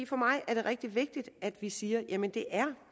for mig er det rigtig vigtigt at vi siger at det er